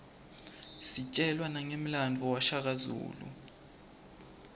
sitjelwa nangemlandvo washaka zulu